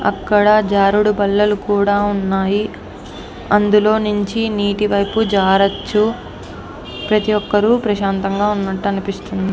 అక్కడా జారుడు బల్లలు కూడా ఉన్నాయి. అందులో నుంచి నీటి వైపు జారొచ్చు. ప్రతి ఒక్కరు ప్రశాంతంగా ఉన్నట్టు అనిపిస్తుం --